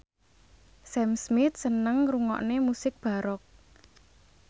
Sam Smith seneng ngrungokne musik baroque